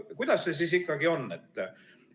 Kuidas see siis ikkagi on?